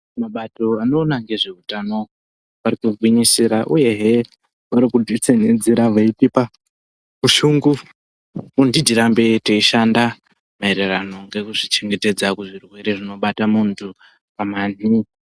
Mabato anoona nezveutano ari kugwinyisira uyehe vari kudzitsenedzera veitipa ushungu kuti tirambe teishanda maererano nekuzvirwere zvinobata munhu pamanhi.